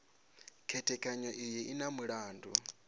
khethekanyo iyi u na mulandu